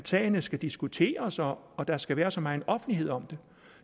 sagerne skal diskuteres og og der skal være så meget offentlighed om